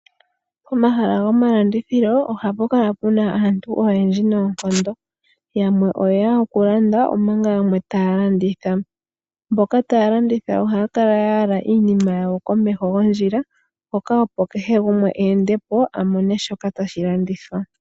Pomahala gomalandithilo ohapukala puna aantu oyendji noonkondo, yamwe oyeya okulanda omanga yamwe taya landitha. Mboka taya landitha ohaya kala ya yala iinima yawo komeho gondjila mpoka opo kehe gumwe a ende po a mone shoka tashi landithwa.